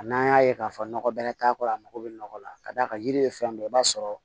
N'an y'a ye k'a fɔ nɔgɔ bɛrɛ t'a kɔrɔ a mako bɛ nɔgɔ la ka d'a kan yiri ye fɛn dɔ i b'a sɔrɔ